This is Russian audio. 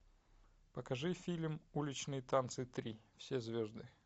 покажи фильм уличные танцы три все звезды